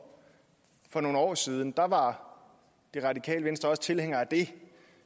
for nogle år siden da var det radikale venstre også tilhænger af det